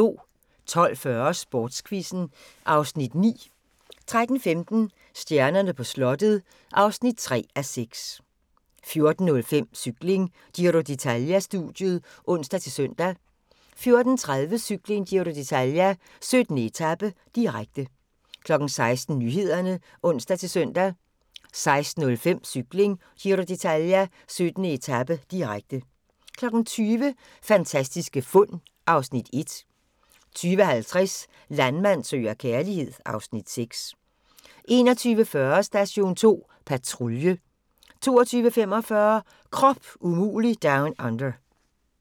12:40: Sportsquizzen (Afs. 9) 13:15: Stjernerne på slottet (3:6) 14:05: Cykling: Giro d'Italia-studiet (ons-søn) 14:30: Cykling: Giro d'Italia - 17. etape, direkte 16:00: Nyhederne (ons-søn) 16:05: Cykling: Giro d'Italia - 17. etape, direkte 20:00: Fantastiske fund (Afs. 1) 20:50: Landmand søger kærlighed (Afs. 6) 21:40: Station 2 Patrulje 22:45: Krop umulig Down Under